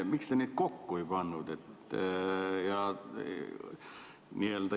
Miks te neid kokku ei pannud?